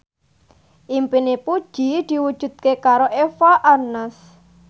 impine Puji diwujudke karo Eva Arnaz